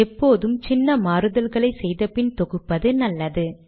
எப்போதும் சின்ன மாறுதல்களை செய்த பின் தொகுப்பது நல்லது